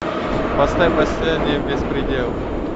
поставь последний беспредел